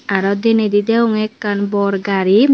aro denedi degonge ekkan bor gari.